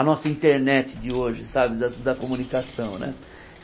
A nossa internet de hoje, sabe, da da comunicação, né?